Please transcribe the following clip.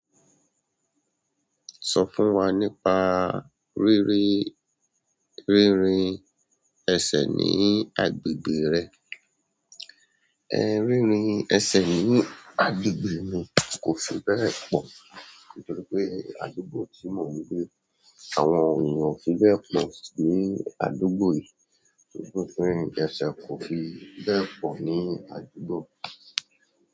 Sọ fún wa nípa rírí rírìn ẹsẹ̀ ní agbègbè rẹ. Ẹ̀ rírìn ẹsẹ̀ ní agbègbè mi kò fi bẹ́ẹ̀ pọ̀ nítorí pé àdúgbò tí mò ń gbé, àwọn ènìyàn ò fi bẹ́ẹ̀ pọ̀ ní àdúgbò yìí. Nítorí bé ìrìn ẹsẹ̀ kò fi bẹ́ẹ̀ pọ̀ ní àdúgbò.